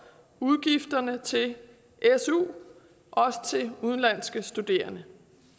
udgifterne til su også til udenlandske studerende